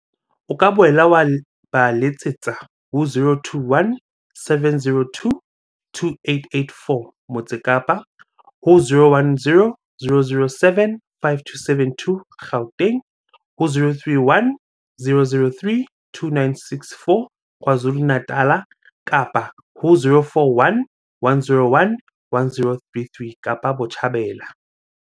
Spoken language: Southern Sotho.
O ka boela wa ba letsetsa ho 021 702 2884, Motse Kapa, ho 010 007 5272, Gauteng, ho 031 003 2964, KwaZulu-Natala, kapa ho 041 101 1033, Kapa Botjhabela.